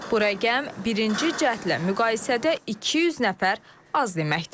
Bu rəqəm birinci cəhdlə müqayisədə 200 nəfər az deməkdir.